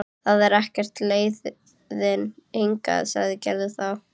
Það er ekkert í leiðinni hingað, sagði Gerður þá.